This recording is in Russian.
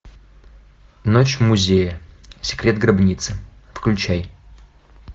ночь в музее секрет гробницы включай